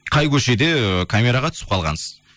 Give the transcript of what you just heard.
қай көшеде ііі камераға түсіп қалғансыз